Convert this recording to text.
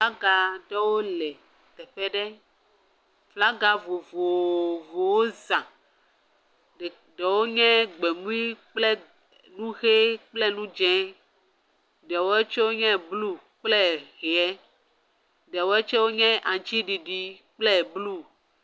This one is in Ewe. Flaga ɖewo le teƒe ɖe, flagawo vovovowo za, ɖewo nye gbemui kple nu ʋe kple nu dzee, ɖewoe tsɛ nye blu dze, ɖewɔe tsɛ nye aŋutiɖiɖi kple blu.